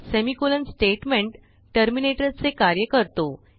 semicolon statement टर्मिनेटरचे कार्य करतो